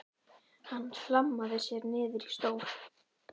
Hann hlammaði sér niður í stól.